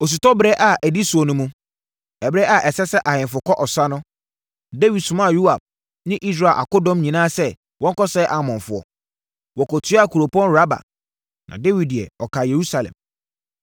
Osutɔberɛ a ɛdi soɔ no mu, ɛberɛ a ɛsɛ sɛ ahemfo kɔ ɔsa no, Dawid somaa Yoab ne Israel akodɔm nyinaa sɛ wɔnkɔsɛe Amonfoɔ. Wɔkɔtuaa kuropɔn Raba, na Dawid deɛ, ɔkaa Yerusalem.